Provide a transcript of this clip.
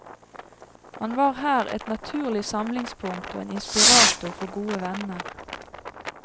Han var her et naturlig samlingspunkt og en inspirator for gode venner.